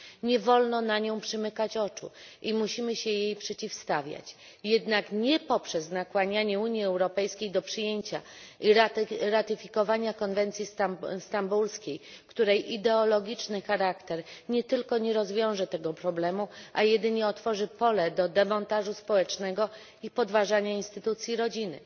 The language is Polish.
Nie wolno na nią przymykać oczu i musimy się jej przeciwstawiać, jednak nie poprzez nakłanianie Unii Europejskiej do przyjęcia i ratyfikowania konwencji stambulskiej, której ideologiczny charakter nie tylko nie rozwiąże tego problemu, ale wręcz otworzy pole do demontażu społecznego i podważania instytucji rodziny.